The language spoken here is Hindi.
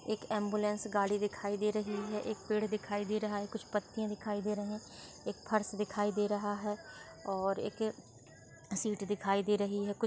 एक एम्बुलेंस गाड़ी दिखाई दे रही है एक पेड़ दिखाई दे रहा है कुछ पत्तियां दिखाई दे रही है एक फर्श दिखाई दे रहा है और एक सीट दिखाई दे रही है।